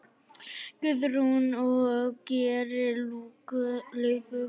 Guðrún: Og gerir lukku?